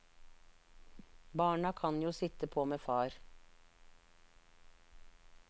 Barna kan jo sitte på med far.